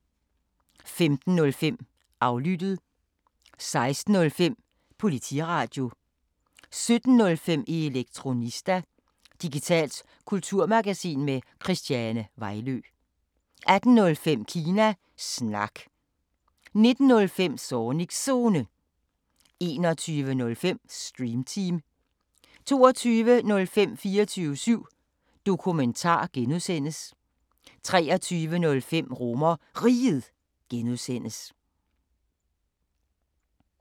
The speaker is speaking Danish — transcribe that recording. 15:05: Aflyttet 16:05: Politiradio 17:05: Elektronista – digitalt kulturmagasin med Christiane Vejlø 18:05: Kina Snak 19:05: Zornigs Zone 21:05: Stream Team 22:05: 24syv Dokumentar (G) 23:05: RomerRiget (G)